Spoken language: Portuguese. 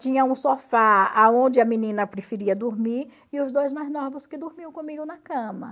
Tinha um sofá onde a menina preferia dormir e os dois mais novos que dormiam comigo na cama.